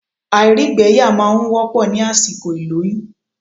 Àìrígbẹyà máa n wọ́pọ̀ ní àsìkò ìlóyún